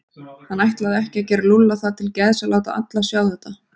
Hann ætlaði ekki að gera Lúlla það til geðs að láta alla sjá þetta.